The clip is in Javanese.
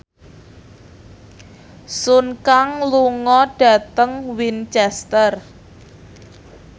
Sun Kang lunga dhateng Winchester